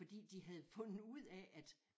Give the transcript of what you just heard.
Fordi de havde fundet ud af at